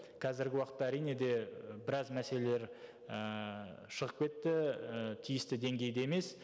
қазіргі уақытта әрине де біраз мәселелер ііі шығып кетті і тиісті деңгейде емес